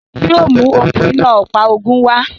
Yóò mú okún iná ọ̀pá ogun wa